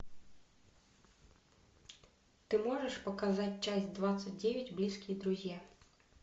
ты можешь показать часть двадцать девять близкие друзья